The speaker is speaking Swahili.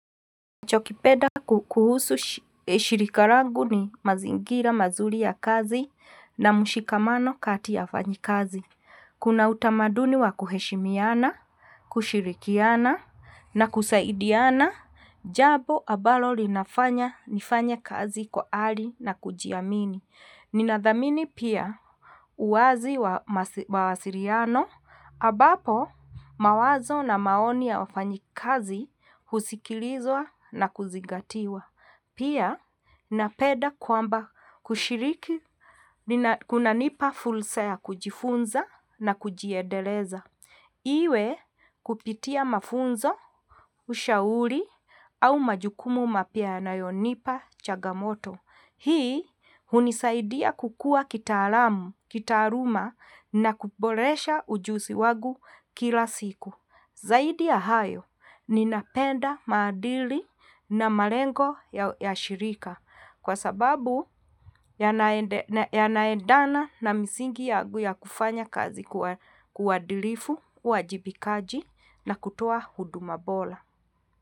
Chakupenda kuhusu shirika langu ni mazingira mazuri ya kazi na mshikamano kati ya wafanyakazi. Kuna utamaduni wa kuheshimiana, kushirikiana na kusaidiana, jambo ambalo linafanya nifanye kazi kwa ari na kujiamini. Ninathamini pia uwazi wa masiliano ambapo mawazo na maoni ya wafanyakazi husikilizwa na kuzingatiwa. Pia napenda kwamba kushiriki kunanipa fursa ya kujifunza na kujiendeleza. Iwe kupitia mafunzo, ushauri au majukumu mapya yanayonipa changamoto. Hii hunisaidia kukua kitaalamu, kitaaluma na kuboresha ujuzi wangu kila siku. Zaidi ya hayo, ninapenda maadili na malengo ya shirika kwa sababu yanaendana na misingi yangu ya kufanya kazi kwa uadilifu, uwajibikaji na kutoa huduma bora.